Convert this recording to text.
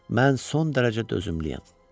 Mən son dərəcə dözümlüyəm.